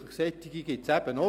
Solche gibt es eben auch.